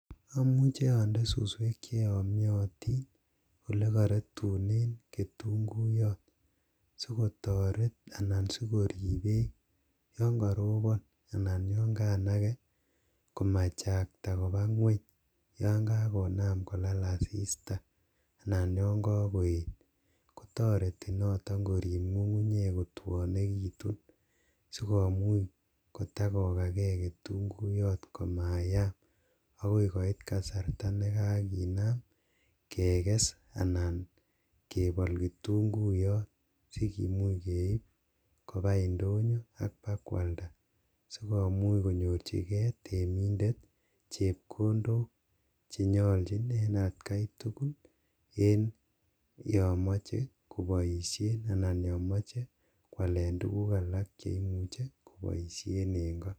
Amuchi ande suswek che yamitin olegarutunen ketunguyot sigotoret anan sigorip beek yon karobon ana yon kanage komachakta koba ngweny yon kagonam kolal asista anan yon kagoet. Kotoreti noto korip ngungunyek kotwonegitun, sigomuch kotagogage ketunguyot komayaam agoi koit kasarta ne kaginam keges anan kebol kitunguiyot sigimuch keip kopa indonyo ak kwalda sigomuch konyorchige temindet chepkondok che nyalchin en atkai tugul en yon moche koboisien anan yon moche koalen tuguk alak che imuche koboisien en ko.